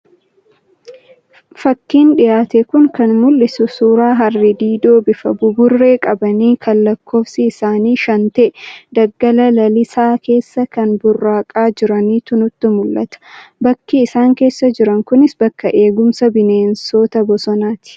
Fakiin dhiyaate kun kan mul'isu suuraa Harree diidoo bifa buburree qabanii kan lakkoofsi isaanii shan ta'e, daggala lalisaa keessa kan burraaqaa jiranitu nutti mul'ata. Bakki isaan keessa jiran kunis bakka eegumsa bineensota bosonaati.